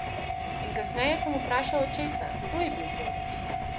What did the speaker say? In kasneje sem vprašal očeta, kdo je bil to?